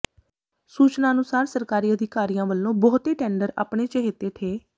ਸੂਚਨਾ ਅਨੁਸਾਰ ਸਰਕਾਰੀ ਅਧਿਕਾਰੀਆਂ ਵਲੋਂ ਬਹੁਤੇ ਟੈਂਡਰ ਆਪਣੇ ਚਹੇਤੇ ਠੇ